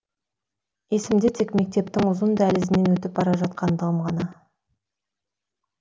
есімде тек мектептің ұзын дәлізінен өтіп бара жатқаным ғана